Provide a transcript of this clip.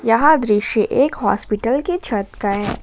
यह दृश्य एक हॉस्पिटल के छत का है।